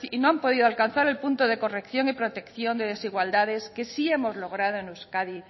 no han podido alcanzar el punto de corrección y protección de desigualdades que sí hemos logrado en euskadi